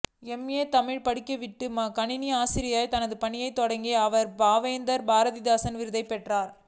M A Tamil படித்துவிட்டு கணித ஆசிரியராக தனது பணியை தொடங்கிய அவர் பாவேந்தர் பாரதிதாசன் விருதை பெற்றார்